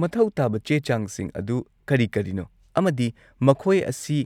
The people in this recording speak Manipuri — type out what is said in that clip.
ꯃꯊꯧ ꯇꯥꯕ ꯆꯦ-ꯆꯥꯡꯁꯤꯡ ꯑꯗꯨ ꯀꯔꯤ-ꯀꯔꯤꯅꯣ ꯑꯃꯗꯤ ꯃꯈꯣꯏ ꯑꯁꯤ